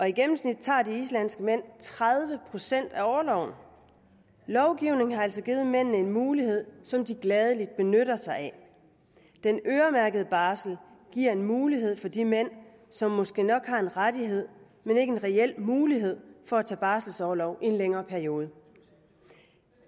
i gennemsnit tager de islandske mænd tredive procent af orloven lovgivningen har altså givet mændene en mulighed som de gladeligt benytter sig af den øremærkede barsel giver en mulighed for de mænd som måske nok har en rettighed men ikke en reel mulighed for at tage barselsorlov i en længere periode